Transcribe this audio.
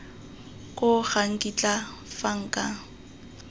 koo ga nkitla fa nka